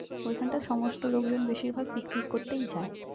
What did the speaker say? ওই ক্ষান্ত সমস্ত লোকজন বেশির ভাগ picnic করতেই যাই